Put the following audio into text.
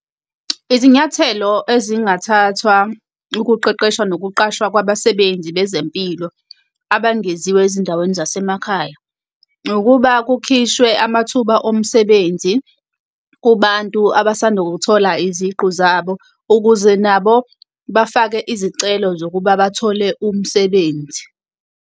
Izinyathelo ezingathathwa ukuqeqeshwa nokuqashwa kwabasebenzi bezempilo abangeziwe ezindaweni zasemakhaya ukuba kukhishwe amathuba omsebenzi kubantu abasanda ukuthola iziqu zabo, ukuze nabo bafake izicelo zokuba bathole umsebenzi.